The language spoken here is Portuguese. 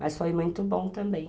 Mas foi muito bom também.